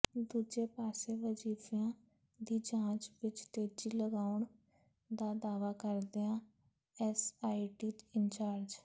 ਦੂਜੇ ਪਾਸੇ ਵਜੀਫਿਆਂ ਦੀ ਜਾਂਚ ਵਿੱਚ ਤੇਜ਼ੀ ਲਿਆਉਣ ਦਾ ਦਾਅਵਾ ਕਰਦਿਆਂ ਐਸਆਈਟੀ ਇੰਚਾਰਜ